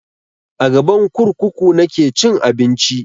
A gaban kurkuku nake cin abinci